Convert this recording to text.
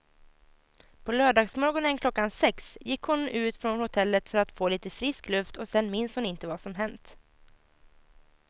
På lördagsmorgonen klockan sex gick hon ut från hotellet för att få lite frisk luft och sen minns hon inte vad som hänt.